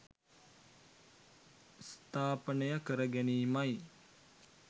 ස්ථාපනය කර ගැනීමයි